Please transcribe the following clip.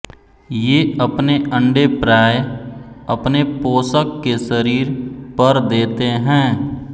ये अपने अंडे प्राय अपने पोषक के शरीर पर देते हैं